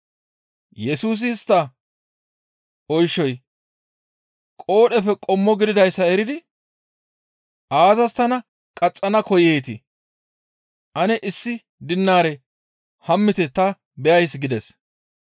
Yesusi istta oyshay qoodheppe qommo gididayssa eridi, «Aazas tana qaxxana koyeetii? Ane issi dinaare hammite ta beyays» gides.